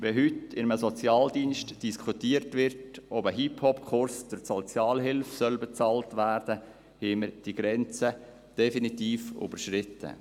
Wenn heute in einem Sozialdienst diskutiert wird, ob ein Hip-Hop-Kurs durch die Sozialhilfe bezahlt werden soll, haben wir diese Grenze definitiv überschritten.